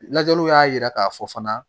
Lajɛliw y'a yira k'a fɔ fana